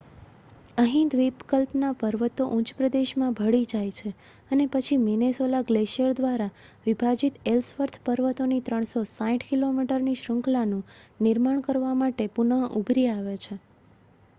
અહીં દ્વીપકલ્પના પર્વતો ઉચ્ચપ્રદેશમાં ભળી જાય છે અને પછી મિનેસોલા ગ્લેશિયર દ્વારા વિભાજિત એલ્સવર્થ પર્વતોની 360 કિલોમીટરની શૃંખલાનું નિર્માણ કરવા માટે પુનઃ ઊભરી આવે છે